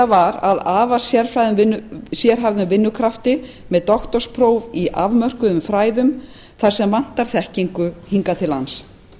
var að afar sérhæfðum vinnukrafti með doktorspróf í afmörkuðum fræðum þar sem vantar þekkingu hingað til lands